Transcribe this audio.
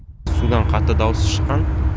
судан қатты дауыс шыққан